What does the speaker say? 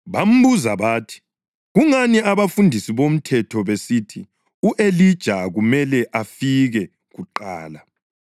Bambuza bathi, “Kungani abafundisi bomthetho besithi u-Elija kumele afike kuqala?”